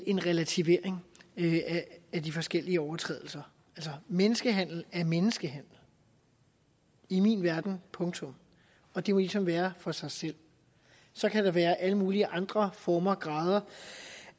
en relativering af de forskellige overtrædelser altså menneskehandel er menneskehandel i min verden punktum og det må ligesom være for sig selv så kan der være alle mulige andre former for og grader